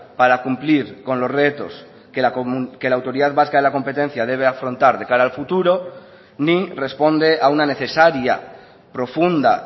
para cumplir con los retos que la autoridad vasca de la competencia debe afrontar de cara al futuro ni responde a una necesaria profunda